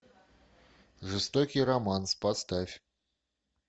жестокий романс поставь